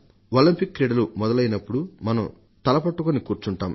Olympics మొదలైనప్పుడు మనం తల పట్టుకుని కూర్చుంటాం